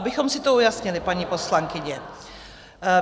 Abychom si to ujasnili, paní poslankyně.